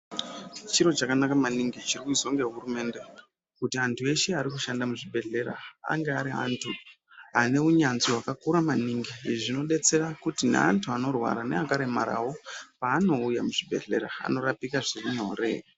Chiro chakanaka maningi chirikuizwa ngehurumende kuti antu eshe arikushanda muzvibhedhlera ange ari antu aneunyanzvi hwakakura maningi izvi zvinodetsera kuti neantu anorwara neakaremarawo paanouye muzvibhedhlera anorapike zvirinyore.